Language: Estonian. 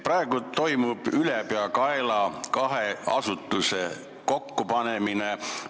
Praegu toimub kahe asutuse ülepeakaela kokkupanemine.